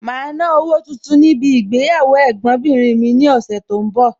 Màá ná owó tuntun níbi ìgbéyàwó Ẹ̀gbọ́n bìnrin mi ní ọ̀sẹ̀ tó ń bọ̀.